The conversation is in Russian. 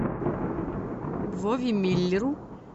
вове миллеру